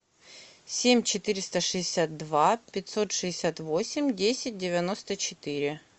семь четыреста шестьдесят два пятьсот шестьдесят восемь десять девяносто четыре